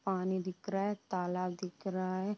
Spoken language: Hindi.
पानी दिख रहा है। तालाब दिख रहा है|